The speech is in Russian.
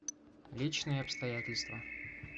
личные обстоятельства